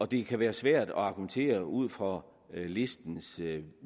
det kan være svært at argumentere ud fra listens